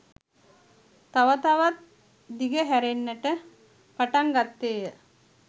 තව තවත් දිගහැරෙන්නට පටන්ගත්තේ ය